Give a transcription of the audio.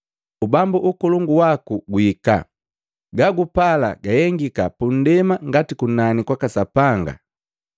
Ubambu ukolongu waku guhika, gagupala gahengika pundema ngati kunani kwaka Sapanga kwaka Sapanga.